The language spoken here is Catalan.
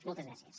moltes gràcies